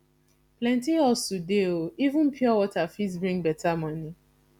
plenty hustle dey o even pure water fit bring beta money